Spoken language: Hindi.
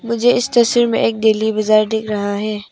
मुझे इस तस्वीर में एक दिल्ली बाजार दिख रहा है।